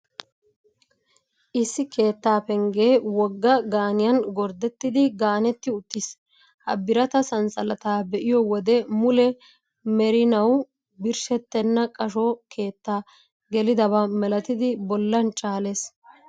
Issi keettaa penggee wogga gaaniyan gorddettidi gaanetti uttiis. Ha birata sanssalataa be'iyoo wode, mule merinawu birshshettenna qasho keettaa gelidaba malatidi bollan caalees.